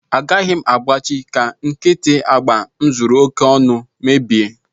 Agaghị m agbachị ka nkịtị agba m zuru oke ọnụ mebie